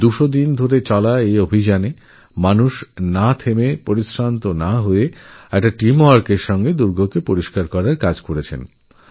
টানা দুশোদিন অবিরাম অক্লান্ত টিম ওয়ার্ক চালিয়ে ঝক্ঝকে তক্তকে করার কাজ চলেছে